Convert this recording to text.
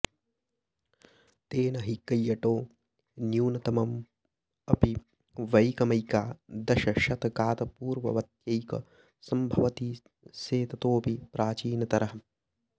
तेन हि कैयटो न्यूनतममपि वैकमैकादशशतकात्पूर्ववत्यैव सम्भवति से ततोऽपि प्राचीनतरः